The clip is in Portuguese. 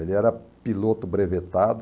Ele era piloto brevetado.